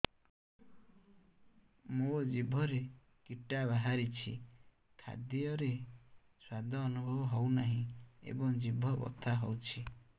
ମୋ ଜିଭରେ କିଟା ବାହାରିଛି ଖାଦ୍ଯୟରେ ସ୍ୱାଦ ଅନୁଭବ ହଉନାହିଁ ଏବଂ ଜିଭ ବଥା ହଉଛି